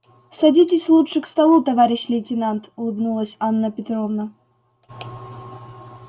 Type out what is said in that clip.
садитесь лучше к столу товарищ лейтенант улыбнулась анна петровна